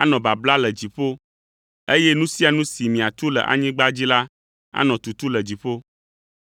anɔ babla le dziƒo, eye nu sia nu si miatu le anyigba dzi la anɔ tutu le dziƒo.